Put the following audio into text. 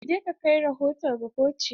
Je ka kai rahoto ga koci!